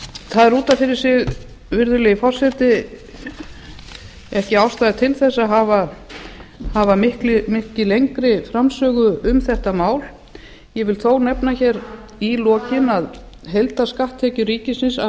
er út af fyrir sig virðulegi forseti ekki ástæða til þess að hafa mikið lengri framsögu um þetta mál ég vil þó nefna hér í lokin að heildarskatttekjur ríkisins af